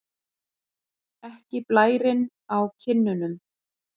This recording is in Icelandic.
Ekki blærinn á kinnunum.